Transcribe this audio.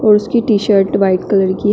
और उसकी T shirt white colour की है।